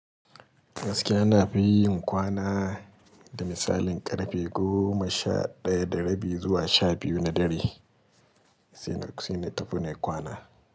Gaskiya na fi kwana da misalin ƙarfe goma sha ɗaya da rabi zuwa sha biyu na dare, sai na tafi nayi kwana.